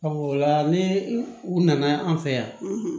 o la ni u nana an fɛ yan